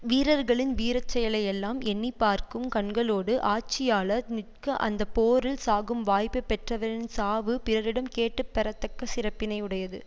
வீரர்களின் வீரச்செயலை எல்லாம் எண்ணி பார்க்கும் கண்களோடு ஆட்சியாளர் நிற்க அந்த போரில் சாகும் வாய்ப்பை பெற்றவரின் சாவு பிறரிடம் கேட்டுப் பெறத்தக்க சிறப்பினை உடையது